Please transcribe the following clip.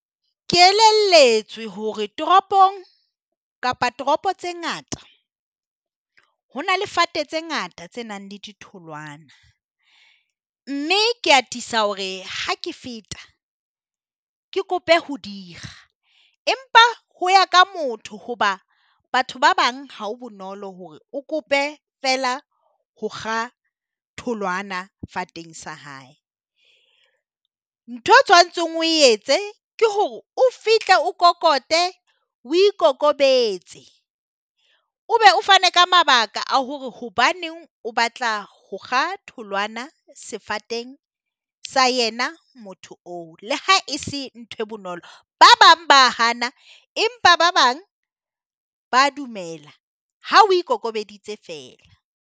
Ke elelletswe hore toropong kapa toropo tse ngata ho na le fate tse ngata tse nang le ditholwana, mme ke atisa hore ha ke feta ke kope ho di kga empa ho ya ka motho hoba batho ba bang ha o bonolo hore o kope feela ho kga tholwana sa hae. Nthwe tshwantsheng o e etse ke hore o fihle o kokote o ikokobetse o be o fane ka mabaka a hore hobaneng o batla ho kga tholwana sefateng sa yena motho oo le ha e se nthwe bonolo, ba bang ba hana empa ba bang ba dumela ha o e ikokobeditse feela.